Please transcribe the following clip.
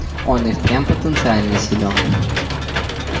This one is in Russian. он и впрямь потенциально силён